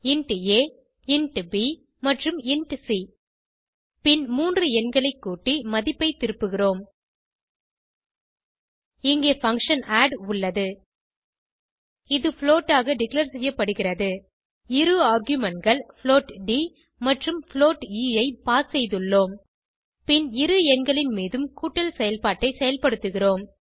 int a int b மற்றும் int c பின் மூன்று எண்களை கூட்டி மதிப்பை திருப்புகிறோம் இங்கே பங்ஷன் ஆட் உள்ளது இது புளோட் ஆக டிக்ளேர் செய்யப்படுகிறது இரு argumentகள் புளோட் ட் மற்றும் புளோட் எ ஐ பாஸ் செய்துள்ளோம் பின் இரு எண்களின் மீதும் கூட்டல் செயல்பாட்டை செயல்படுத்துகிறோம்